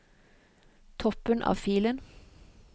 Toppen av filen